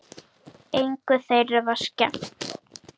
Engu þeirra var skemmt.